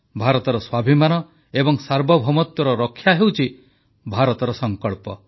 ଭାରତର ସ୍ୱାଭିମାନ ଏବଂ ସାର୍ବଭୌମତ୍ୱର ରକ୍ଷା ହେଉଛି ଭାରତର ସଂକଳ୍ପ